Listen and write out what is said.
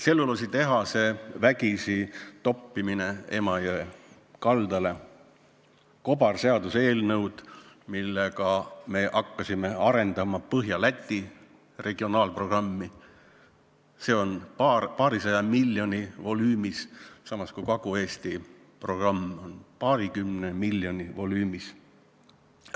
Tselluloositehase vägisi toppimine Emajõe kaldale, kobarseaduseelnõud, millega me hakkasime arendama Põhja-Läti regionaalprogrammi, see on paarisaja miljoni volüümis, samas kui Kagu-Eesti programm on paarikümne miljoni volüümis.